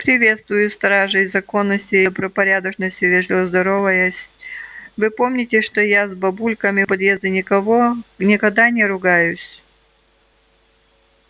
приветствую стражей законности и добропорядочности вежливо здороваясь вы помните что я с бабульками у подъезда никого никогда не ругаюсь